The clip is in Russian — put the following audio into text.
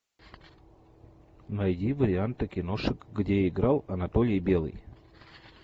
найди варианты киношек где играл анатолий белый